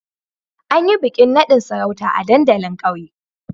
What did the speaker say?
An yi bikin nadin sarauta a dandalin kauye